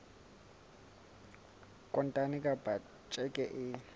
kontane kapa ka tjheke e